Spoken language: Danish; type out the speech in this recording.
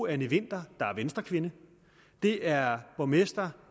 anny winther der er venstrekvinde det er borgmester